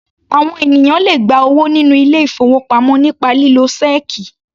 Àwọn ènìyàn le gba owó nínú ilé-ìfowópamọ́ nípa lílo ṣẹ́ẹ́kì.